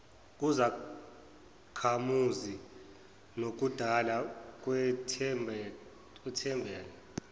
kuzakhamuzi nokudala ukwethembela